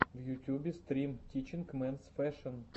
в ютюбе стрим тичинг менс фэшэн